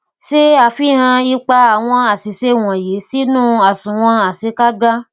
se afihan ipa awon asise wonyi sinu asunwon asekagba